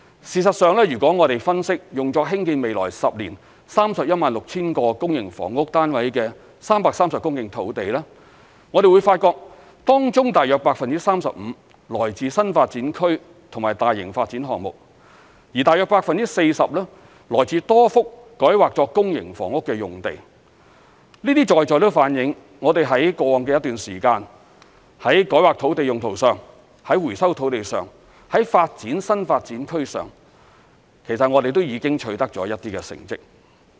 事實上，如果我們分析用作興建未來10年 316,000 個公營房屋單位的330公頃土地，會發現當中約 35% 來自新發展區及大型發展項目，約 40% 來自多幅改劃作公營房屋的用地，這些都反映我們在過往的一段時間，在改劃土地用途上、在收回土地上、在發展新發展區上，其實我們已取得一些成績。